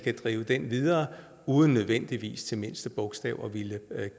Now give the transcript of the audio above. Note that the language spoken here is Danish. at drive den videre uden nødvendigvis til mindste bogstav vil